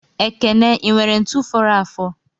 Ekene inwere ntu foro afo?